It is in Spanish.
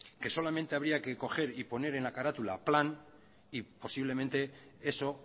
que solamente habría que coger y poner en la carátula plan y posiblemente eso